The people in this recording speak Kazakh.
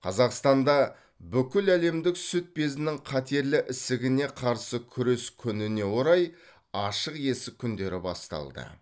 қазақстанда бүкіләлемдік сүт безінің қатерлі ісігіне қарсы күрес күніне орай ашық есік күндері басталды